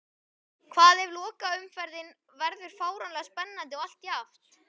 Hvað ef lokaumferðin verður fáránlega spennandi og allt jafnt?